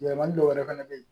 Yɛlɛmali dɔwɛrɛ fana bɛ yen